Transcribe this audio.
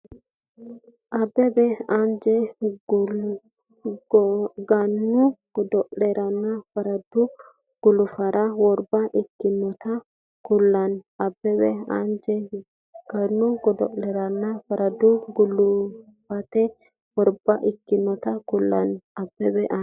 Abbebe anje Gannu godo’leranna farado gulufate worba ikkinota kullanni Abbebe anje Gannu godo’leranna farado gulufate worba ikkinota kullanni Abbebe anje.